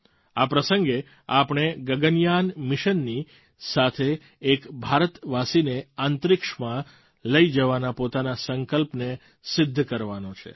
અને આ પ્રસંગે આપણે ગગનયાન મિશનની સાથે એક ભારતવાસીને અંતરિક્ષમાં લઈ જવાના પોતાના સંકલ્પને સિદ્ધ કરવાનો છે